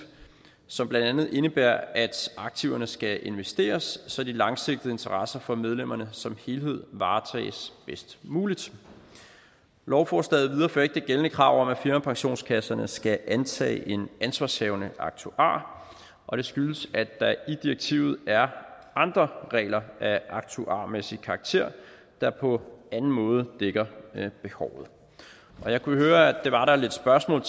som blandt andet indebærer at aktiverne skal investeres så de langsigtede interesser for medlemmerne som helhed varetages bedst muligt lovforslaget viderefører ikke det gældende krav om at firmapensionskasserne skal antage en ansvarshavende aktuar og det skyldes at der i direktivet er andre regler af aktuarmæssig karakter der på anden måde dækker behovet jeg kunne høre at det var der lidt spørgsmål